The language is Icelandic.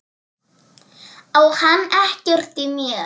Á hann ekkert í mér?